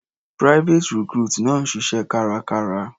Private recruit náà ń ṣiṣẹ́ kárakára.